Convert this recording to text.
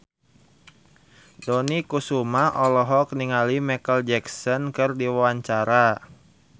Dony Kesuma olohok ningali Micheal Jackson keur diwawancara